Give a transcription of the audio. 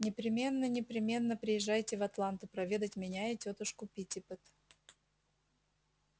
непременно непременно приезжайте в атланту проведать меня и тётушку питтипэт